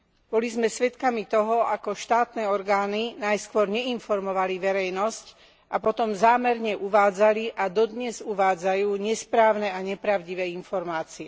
Boli sme svedkami toho, ako štátne orgány najskôr neinformovali verejnosť a potom zámerne uvádzali a dodnes uvádzajú nesprávne a nepravdivé informácie.